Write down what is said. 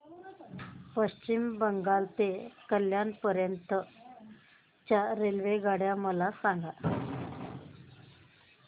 पश्चिम बंगाल ते कल्याण पर्यंत च्या रेल्वेगाड्या मला सांगा